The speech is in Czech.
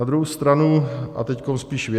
Na druhou stranu, a teď spíš věcně.